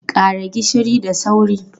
Ƙara gishiri da sauri!